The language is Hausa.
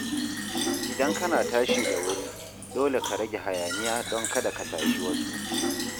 Idan kana tashi da wuri, dole ka rage hayaniya don kada ka tashi wasu.